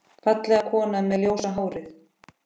Fallega konan með ljósa hárið.